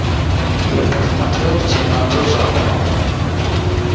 я посмотрел в темноту за окном